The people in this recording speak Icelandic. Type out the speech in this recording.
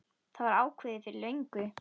Það var ákveðið fyrir löngu.